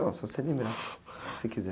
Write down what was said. Não, só se você lembrar, se quiser.